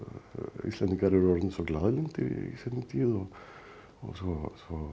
Íslendingar eru orðnir svo í seinni tíð og svo